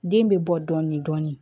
Den bɛ bɔ dɔɔnin dɔɔnin